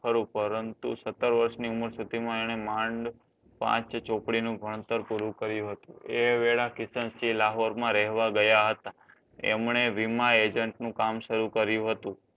ખરું પરંતુ સત્તર વર્ષની ઉંમર સુધીમાં એને માંડ પાંચ ચોપડીનું ભણતર પૂરું કર્યું હતું. એ વેળા કિશનસિંહ લાહોરમાં રહેવા ગયા હતા. એમને વીમા agent નું કામ શરૂ કર્યું હતું.